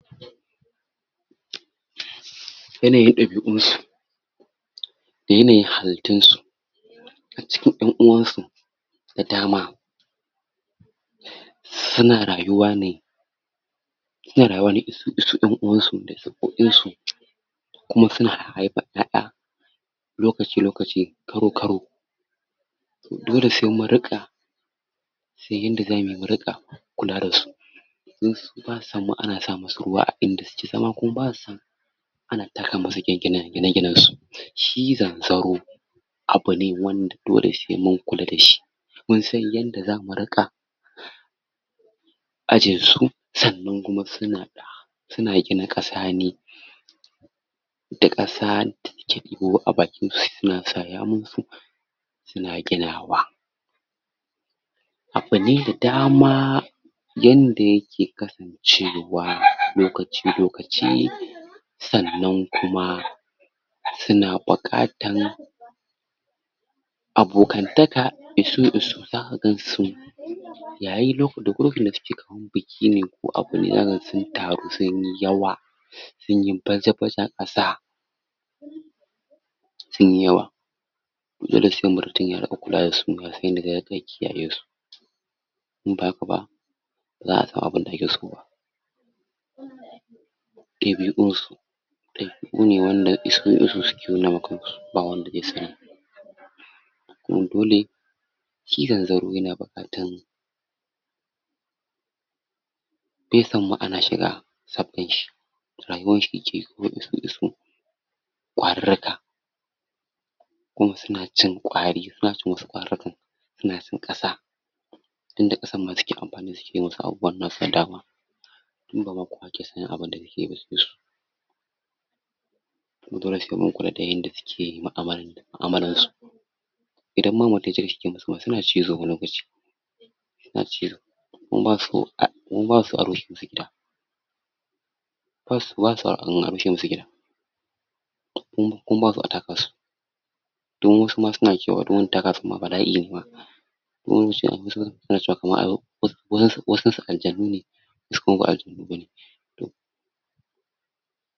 Yanayin dabi'unsu da yanayin halittunsu a cikin yan uwansu da dama suna rayuwa ne, suna rayuwa ne isu isu yan uwansu, kuma suna haifan yaya lokaci lokaci, karo karo. Dole sai mun rinka sai mun san yadda zamuyi mu rinka kula dasu. Don su basa samu ana samusu ruwa a inda suke zama kuma basa samusu a gine ginensu. Shi zanzaro, abune wanda dole saimun kula dashi munsan yadda zamu rika ajiyesu, sannan kuma suna gina kasane da kasa Suna gidawa. Abune da dama yand yake kasancewa lokaci lokaci sannan kuma suna bukatan abokantaka isu isu zaka gansu. Yayi da lokacin dasuke kaman biki ne zakaga sun taru sunyi yawa sunyi baja baja, sunyi yawa. To dole sai mutum ya lura yaga yadda zaina aiki dasu, inba haka ba, baza'a samu abunda akeso ba. Dabi'unsu, dabi'une wanda isu isu suke nunawa kansu ba wanda ya sani, kuma dole shi zanzaro yana bukatan, baiso ana shiga sabganshi, rayuwanshi yakeyi isu isu kwarurruka, kuma sunacin kwari, sunacin wasu kwarurrukan, suna cin kasa. Dan da kasan ma suke anfani su gida wasu abubuwan nasu da dama, inbaku Isu isu. Dole sai mun kula da yadda suke mu'amala mu'amala dasu. Idan ma ba haka na suna cizo wani lokaci, suna cizo, kuma basu kuma basuso a rusa musu gida, basuso a rushe musu gida, kuma basuso a taka su, kuma wasuma sunacewa in antaka su ma bala'ine ma, kuma wasu suna cewa wasunsu wasunsu aljanu ne toh.